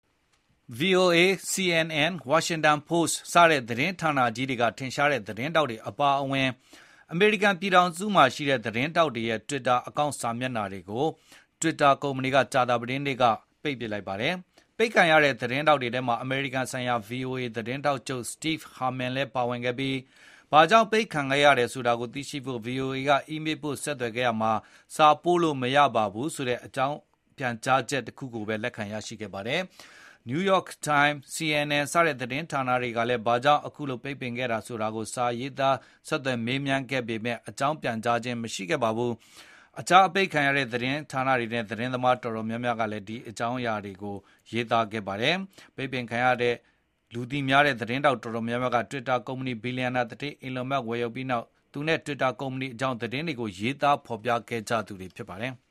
VOA၊ CNN၊ Washington Post စတဲ့သတင်းဌာနကြီးတွေက ထင်ရှားတဲ့သတင်းထောက်တွေအပါအဝင် အမေရိကန်ပြည်ထောင်စုမှာရှိတဲ့ သတင်းထောက်တွေရဲ့ Twitter အကောင့်စာမျက်နှာတွေကို Twitter ကကြာသပတေးနေ့က ပိတ်လိုက်ပါတယ်။ ပိတ်ခံရတဲ့သတင်းထောက်တွေထဲမှာ အမေရိကန်ဆိုင်ရာ VOA သတင်းထောက်ချုပ် Steve Herman လည်းပါဝင်ခဲ့ပြီး ဘာကြောင့်ပိတ်ပင်ခဲ့တယ်ဆိုတာကို VOA က အီးမေးပို့ဆက်သွယ်ခဲ့ရာမှာ “စာပို့လို့မရပါဆိုတဲ့” အကြောင်း ပြန်ကြားချက်ကိုပဲ လက်ခံရရှိခဲ့ပါတယ်။ New York Time၊ CNN စတဲ့သတင်းဌာနတွေကလည်း ဘာကြောင့် အခုလိုပိတ်ပင်ခဲ့တယ်ဆိုတာကိုစာရေးသား ဆက်သွယ်မေးမြန်းခဲ့ပေမယ့်လည်း အကြောင်းပြန်ကြားခြင်းရှိပါဘူး။ အပိတ်ခံရတဲ့ သတင်းသမားအတော်များများနဲ့ သတင်းဌာနအတော်များများက အကောင့်တွေအပိတ်ခံရကြောင်း သတင်းတွေရေးသား ဖေါ်ပြကြပါတယ်။ ပိတ်ပင်ခံရတဲ့ထဲက လူသိများတဲ့ သတင်းသမားတော်တော်များများက Twitter ကုမ္ပဏီကို ဘီလျံနာသူဌေး Elon Musk ဝယ်ယူလိုက်ပြီးနောက် သူနဲ့ Twitter ကုမ္ပဏီအကြောင်း သတင်းတွေကို ရေးသားဖော်ပြခဲ့ကြသူတွေဖြစ်ပါတယ်။